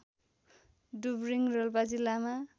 डुब्रिङ रोल्पा जिल्लामा